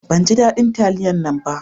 Ban ji dadin taliyan nan ba